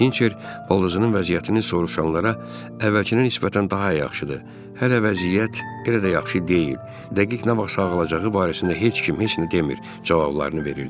Hinçer baldızının vəziyyətini soruşanlara əvvəlkinə nisbətən daha yaxşıdır, hələ vəziyyət elə də yaxşı deyil, dəqiq nə vaxt sağalacağı barəsində heç kim heç nə demir cavablarını verirdi.